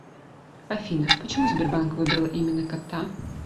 афина почему сбербанк выбрал именно кота